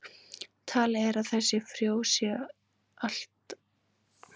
talið er að þessi frjó séu allt að áttatíu þúsund ára gömul